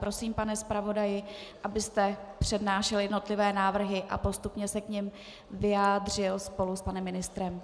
Prosím, pane zpravodaji, abyste přednášel jednotlivé návrhy a postupně se k nim vyjádřil spolu s panem ministrem.